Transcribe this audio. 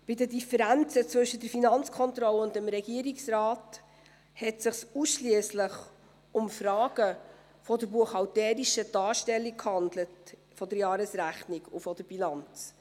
Bei den Differenzen zwischen der FK und dem Regierungsrat handelte es sich ausschliesslich um Fragen der buchhalterischen Darstellung der Jahresrechnung und der Bilanz.